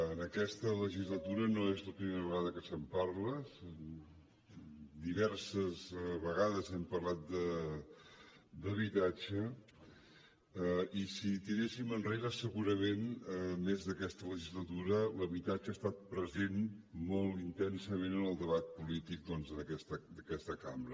en aquesta legislatura no és la primera vegada que se’n parla diverses vegades hem parlat d’habitatge i si tiréssim enrere segurament a més d’aquesta legislatura l’habitatge ha estat present molt intensament en el debat polític doncs d’aquesta cambra